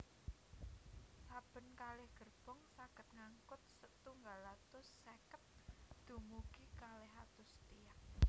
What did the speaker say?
Saben kalih gerbong saged ngangkut setunggal atus seket dumugi kalih atus tiyang